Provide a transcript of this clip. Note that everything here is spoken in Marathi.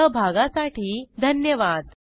सहभागासाठी धन्यवाद